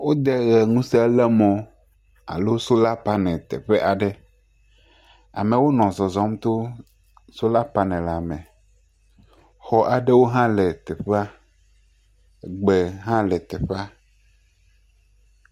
Wode ʋe ŋuse le mɔ alo sola paneli teƒe aɖe. Amewo nɔ zɔzɔm to sola panelia me. Xɔ aɖewo hã le teƒea. Gbe hã le teƒea.